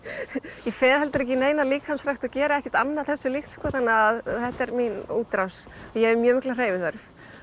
ég fer heldur ekki í neina líkamsrækt og geri ekkert annað þessu líkt þannig að þetta er mín útrás ég hef mjög mikla hreyfiþörf